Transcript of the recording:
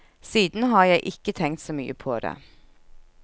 Siden har jeg ikke tenkt så mye på det.